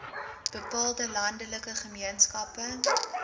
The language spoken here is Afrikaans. bepaalde landelike gemeenskappe